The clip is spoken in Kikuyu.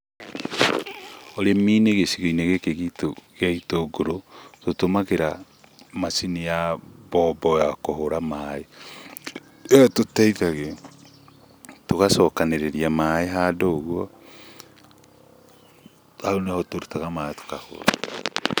Ũrĩmi-inĩ gĩcigo-inĩ gĩkĩ gitũ gĩa itũngũrũ, tũtũmagĩra macini ya mbombo ya kũhũra maĩ, ĩyo ĩtũteithagia tũgacokanĩrĩria maĩ handũ ũguo, hau nĩho tũrutaga maĩ tũkahũra.